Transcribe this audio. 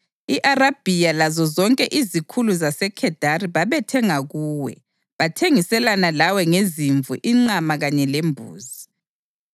I-Arabhiya lazozonke izikhulu zaseKhedari babethenga kuwe; bathengiselana lawe ngezimvu, inqama kanye lembuzi.